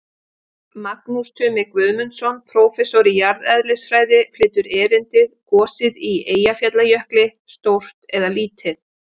Magnús Tumi Guðmundsson, prófessor í jarðeðlisfræði, flytur erindið: Gosið í Eyjafjallajökli, stórt eða lítið?